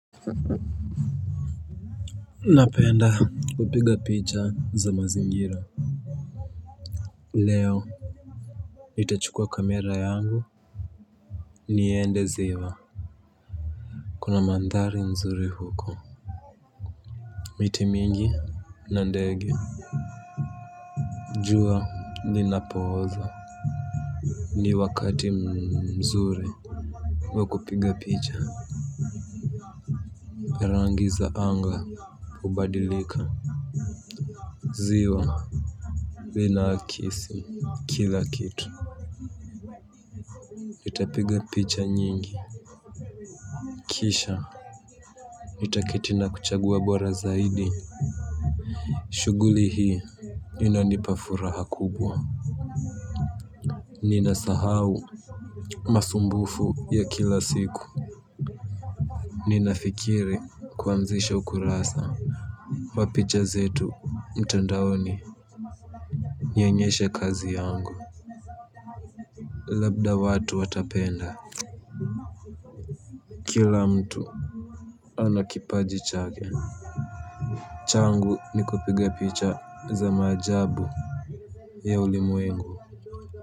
Napenda kupiga picha za mazingira. Leo nitachukua kamera yangu niende ziwa. Kuna mandhari mzuri huko. Miti mingi na ndege. Jua linapoozo. Ni wakati mzuri wa kupiga picha. Parangi za anga hubadilika ziwa linakisi kila kitu. Nitapiga picha nyingi kisha nitaketi na kuchagua bora zaidi. Shughuli hii inanipa furaha kubwa. Nina sahau masumbufu ya kila siku. Nina fikiri kuazisha ukurasa wa picha zetu mtandaoni nionyeshe kazi yangu. Labda watu watapenda kila mtu anakipaji chake. Changu nikupiga picha za maajabu ya ulimwengu.